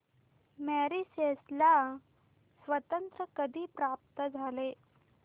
Mauritius ला स्वातंत्र्य कधी प्राप्त झाले